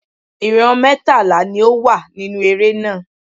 Ìran mẹ́tàlá ni ó wà nínú eré náà.